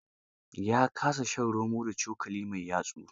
Ya kasa shan romo da cokali mai yatsu.